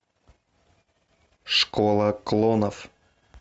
школа клонов